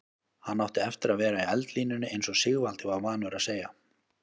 Hann átti eftir að vera í eldlínunni eins og Sigvaldi var vanur að segja.